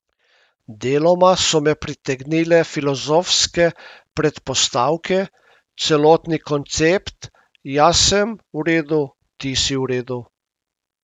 Deloma so me pritegnile filozofske predpostavke, celotni koncept jaz sem v redu, ti si v redu.